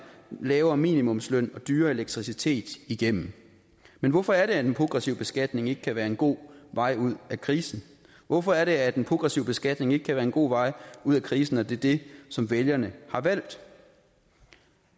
lavere minimumsløn og dyrere elektricitet igennem men hvorfor er det progressiv beskatning ikke kan være en god vej ud af krisen hvorfor er det at progressiv beskatning ikke kan være en god vej ud af krisen når det er det som vælgerne har valgt